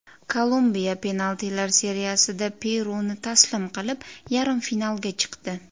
Kolumbiya penaltilar seriyasida Peruni taslim qilib, yarim finalga chiqdi .